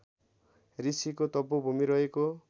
ऋषिको तपोभूमी रहेको